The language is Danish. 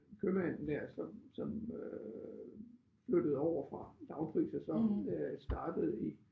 Købmanden der som som øh flyttede over fra lavpris og så øh startede i